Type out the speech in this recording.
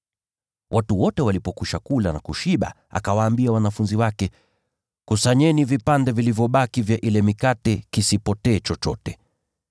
Watu wote walipokwisha kula na kushiba, akawaambia wanafunzi wake, “Kusanyeni vipande vilivyobaki vya ile mikate, kisipotee chochote.”